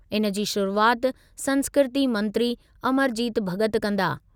इनजी शुरूआति संस्कृती मंत्री अमरजीत भॻत कंदा।